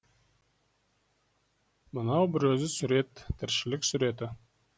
мынау бір өзі сурет тіршілік суреті